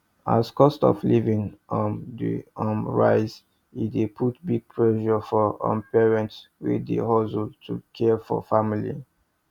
as cost of living um dey um rise e dey put big pressure for um parents wey dey hustle to care for family